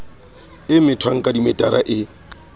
e methwang ka dimetara e